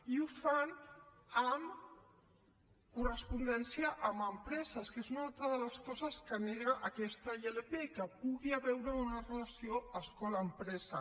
i ho fan amb correspondència amb empreses que és una altra de les coses que nega aquesta ilp que hi pugui haver una relació escola empresa